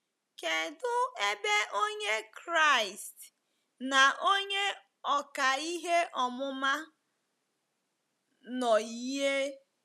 Kedụ ebe Onye Kraịst na onye ọkà ihe ọmụma nọ yie?